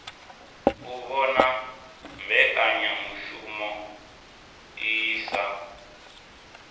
u vhona mbekanyamushumo iyi sa